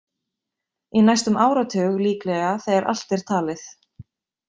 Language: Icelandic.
Í næstum áratug líklega þegar allt er talið.